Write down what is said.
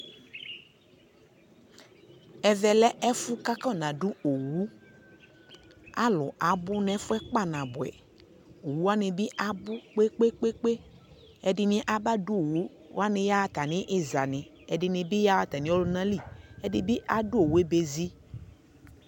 ɛvɛ lɛ ɛƒʋ kʋ akɔna dʋ ɔwʋ, alʋ abʋ nʋ ɛƒʋɛ kpa nabʋɛ, ɔwʋ wani bi abʋ kpekpekpe, ɛdini aba dʋ ɔwʋ yaha atami iza ni, ɛdini bi yaha atami ɔlʋna li, ɛdibi adʋ ɔwʋɛ bɛzi